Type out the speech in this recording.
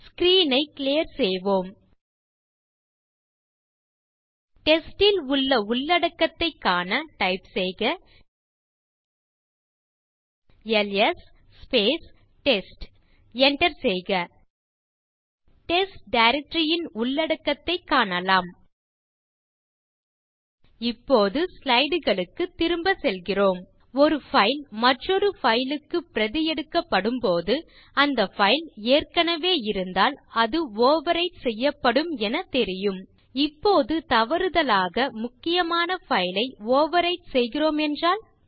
screen ஐ clear செய்வோம் test ல் உள்ள உள்ளடக்கத்தைக் காண டைப் செய்க எல்எஸ் டெஸ்ட் enter செய்க டெஸ்ட் டைரக்டரி ன் உள்ளடக்கத்தைக் காணலாம் இப்போது ஸ்லைடு களுக்குத் திரும்ப செல்கிறோம் ஒரு பைல் மற்றொரு பைல் க்கு பிரதி எடுக்கப்படும்போது அந்த பைல் ஏற்கனவே இருந்தால் அது ஓவர்விரைட் செய்யப்படும் என தெரியும் இப்போது தவறுதலாக முக்கியமான பைல் ஐ ஓவர்விரைட் செய்கிறோம் என்றால்